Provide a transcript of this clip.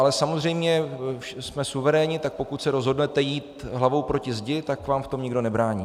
Ale samozřejmě jsme suverénní, tak pokud se rozhodnete jít hlavou proti zdi, tak vám v tom nikdo nebrání.